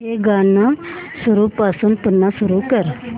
हे गाणं सुरूपासून पुन्हा सुरू कर